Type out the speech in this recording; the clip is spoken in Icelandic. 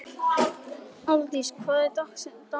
Aldís, hver er dagsetningin í dag?